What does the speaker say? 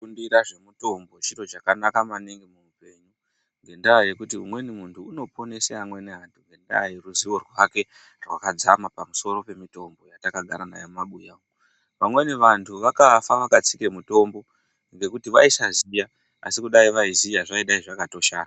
Kufundira zvemutombo chiro chakanaka maningi muupenyu ngendaa yekuti umweni muntu unoponese amweni antu ngendaa yeruziwo rwake rwakadzama pamusoro pemitombo yatakagara nayo mumabuya. Vamweni vantu vakafa vakatsika mutombo ngokuti vaisaziya asi kudayi vaiziya zvakatoshanda.